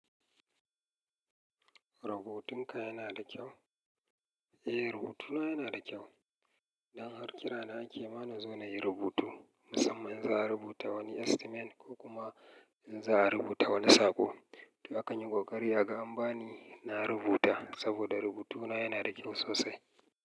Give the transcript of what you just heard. Rubutunka yana da kyau? Eh, rubutuna yana da kyau. Dan har kirana ake ma na zo na yi rubutu, musamman in za a rubuta wani estimate ko kuma in za a rubuta wani saƙo. To, akan yi kokari a ga ambani na rubuta saboda rubutuna yana da kyau sosai.